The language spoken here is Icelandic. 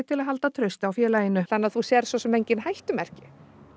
til að halda trausti á félaginu þannig að þú sérð svo sem engin hættumerki